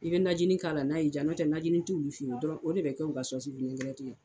I bɛ najinin k'a la n'a'i diya n'o tɛ najinin t'ulu fɛn ye o de bɛ kɛ anw ka